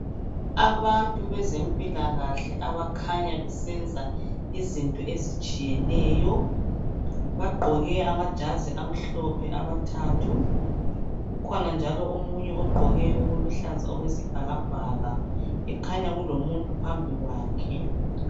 Abantu bezempilakahle abakhanya besenza izinto ezitshiyeneyo. Bagqoke amajazi amhlophe abathathu. Kukhona njalo omunye ogqoke okuluhlaza okwesibhakabhaka ekhanya kulomuntu phambi kwakhe.